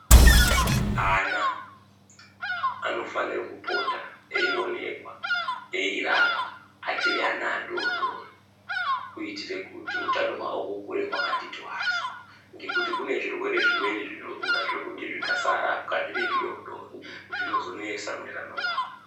Ana anofanira kupota eyionekwa eyirapwa achiri ana adodori kuitira kuti utano hwawo hukure hwakati twasa ngekuti kune zvirwere zvimweni zvinorura zvekuti zvikasarapwa zviri zvidodori zvinozonesa mune ramangwana.